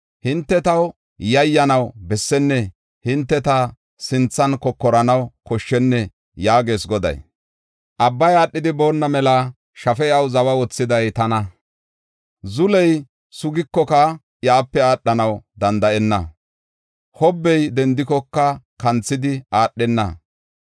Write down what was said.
Hinte taw yayyanaw bessennee? Hinte ta sinthan kokoranaw koshshennee? yaagees Goday. Abbay aadhidi boonna mela shafe iyaw zawa oothiday tana? Zuley sugikoka iyape aadhanaw danda7enna; hobbey dendikoka kanthidi aadhenna.